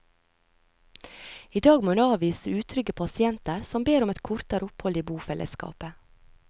I dag må hun avvise utrygge pasienter som ber om et kortere opphold i bofellesskapet.